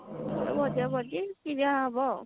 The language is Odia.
ଭଜା ଭଜି ଖିଅ ହେବ ଆଉ